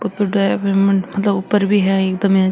ऊपर ड्राइवर मतलब ऊपर भी है एकदम --